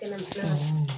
Kɛlɛcɛw